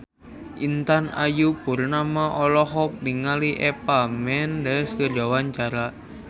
Intan Ayu Purnama olohok ningali Eva Mendes keur diwawancara